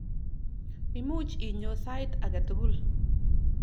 Imuch inyo sait ake tukul.